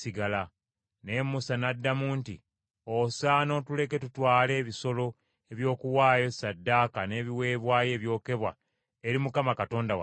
Naye Musa n’addamu nti, “Osaana otuleke tutwale ebisolo eby’okuwaayo ssaddaaka n’ebiweebwayo ebyokebwa eri Mukama Katonda waffe.